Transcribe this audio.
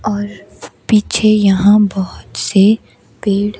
और पीछे यहां बहुत से पेड़--